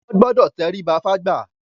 Wọ́n gbọdọ̀ tẹríba fágbà.